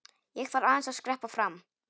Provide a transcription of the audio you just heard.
Ég þarf aðeins að skreppa fram.